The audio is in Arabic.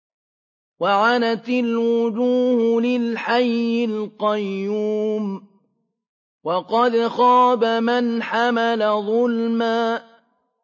۞ وَعَنَتِ الْوُجُوهُ لِلْحَيِّ الْقَيُّومِ ۖ وَقَدْ خَابَ مَنْ حَمَلَ ظُلْمًا